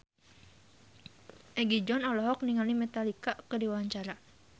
Egi John olohok ningali Metallica keur diwawancara